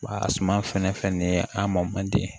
Wa a suma fɛn fɛn nin ye a mɔn man di ye